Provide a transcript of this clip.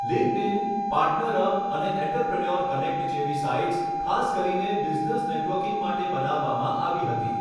LinkedIn, PartnerUp અને entrepreneur connect જેવી sites ખાસ કરીને બિઝનેસ નેટવર્કિંગ માટે બનાવવામાં આવી હતી.